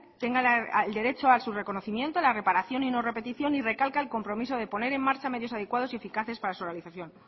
tenga el derecho a su reconocimiento la reparación y no repetición y recalca el compromiso de poner en marcha medios adecuados y eficaces para su realización